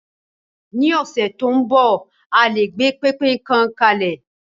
Ni ọdún tó ń bọ̀, a lè gbé pẹpẹ kan kalẹ̀.